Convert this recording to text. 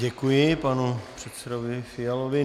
Děkuji panu předsedovi Fialovi.